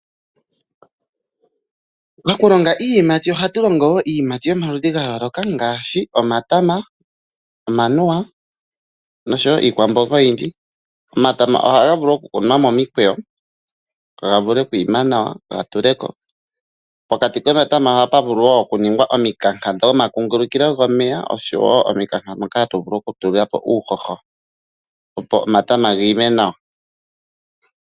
Mokulonga iiyimati ohatu longo woo iiyimati yo maludhi gayooloka ngaashi omatama, omanuwa nosho woo iikwamboga oyindji, omatama oha ga vulu okukunwa momikweyo gavule okwiima nawa ga tuleko, pokati komatama oha pavulu woo oku nunigwa omikanka dho ma kuungulukilo gomeya oshowo omikanka mpoka ha tuvulu oku tulapo uuhoho opo omatama giime nawa.